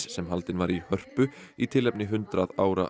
sem haldinn var í Hörpu í tilefni hundrað ára